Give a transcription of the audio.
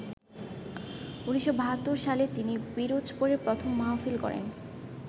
১৯৭২ সালে তিনি পিরোজপুরে প্রথম মাহফিল করেন।